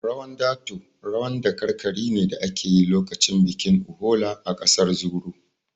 Rawan dato rawan dakarkari ne da ake yi lokacin bikin Uhola a ƙasar Zuru